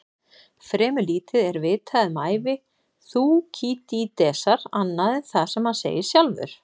Fremur lítið er vitað um ævi Þúkýdídesar annað en það sem hann segir sjálfur.